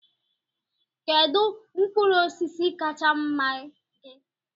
Kedu mkpụrụ osisi kacha mma gị?